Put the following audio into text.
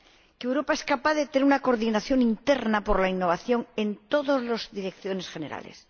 que Europa es capaz de tener una coordinación interna por la innovación en todas las direcciones generales.